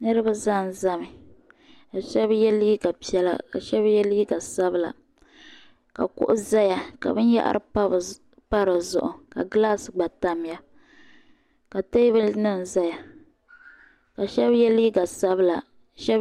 Niriba zanzami ka Sheba ye liiga piɛla ka Sheba ye liiga sabla ka kuɣu zaya ka binyɛhari pa di zuɣu gilaasi gba tamya ka teebuli nima zaya ka Sheba ye liiga sabla.